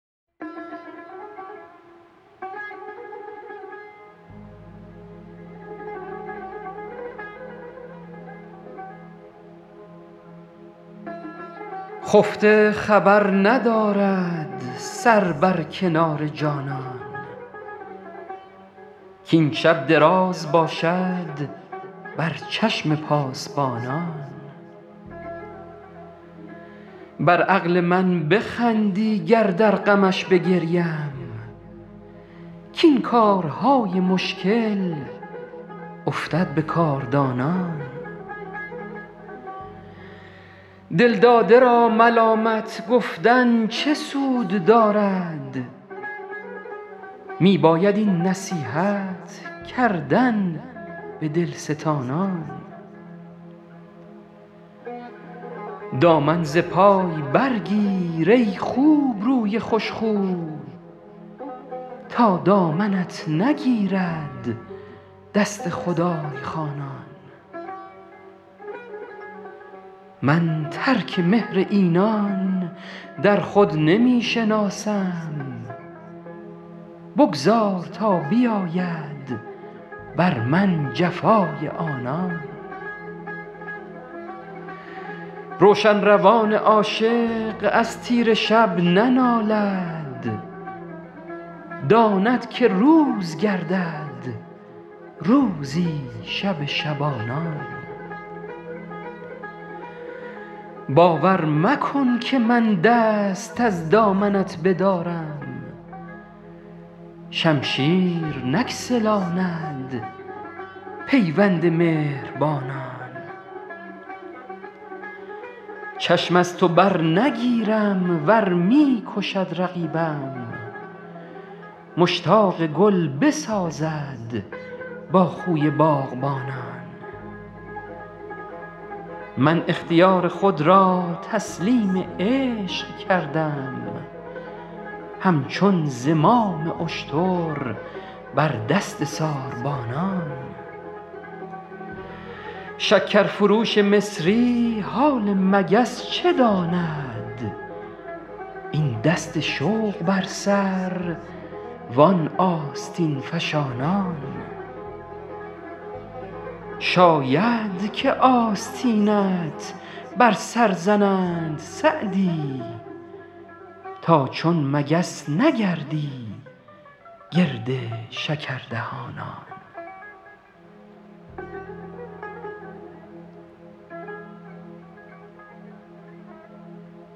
خفته خبر ندارد سر بر کنار جانان کاین شب دراز باشد بر چشم پاسبانان بر عقل من بخندی گر در غمش بگریم کاین کارهای مشکل افتد به کاردانان دلداده را ملامت گفتن چه سود دارد می باید این نصیحت کردن به دلستانان دامن ز پای برگیر ای خوبروی خوشرو تا دامنت نگیرد دست خدای خوانان من ترک مهر اینان در خود نمی شناسم بگذار تا بیاید بر من جفای آنان روشن روان عاشق از تیره شب ننالد داند که روز گردد روزی شب شبانان باور مکن که من دست از دامنت بدارم شمشیر نگسلاند پیوند مهربانان چشم از تو برنگیرم ور می کشد رقیبم مشتاق گل بسازد با خوی باغبانان من اختیار خود را تسلیم عشق کردم همچون زمام اشتر بر دست ساربانان شکرفروش مصری حال مگس چه داند این دست شوق بر سر وان آستین فشانان شاید که آستینت بر سر زنند سعدی تا چون مگس نگردی گرد شکردهانان